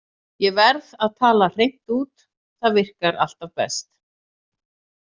Ég verð að tala hreint út, það virkar alltaf best.